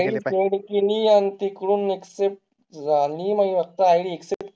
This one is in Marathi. id send केली आणि तिकडून accept झाली नाही. आता id accept केली ए. कोणती insta ला पाठवली ती का